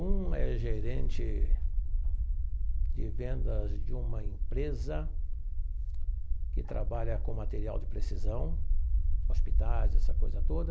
Um é gerente de vendas de uma empresa que trabalha com material de precisão, hospitais, essa coisa toda.